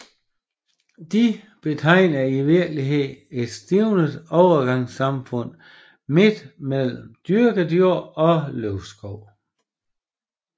De betegner i virkeligheden et stivnet overgangssamfund midt mellem dyrket jord og løvskov